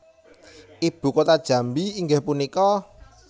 Ibu kota Jambi inggih punika